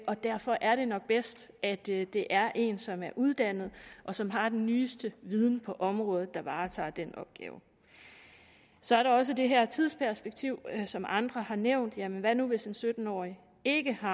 og derfor er det nok bedst at det det er en som er uddannet og som har den nyeste viden på området der varetager den opgave så er der også det her tidsperspektiv som andre har nævnt hvad nu hvis den sytten årige ikke har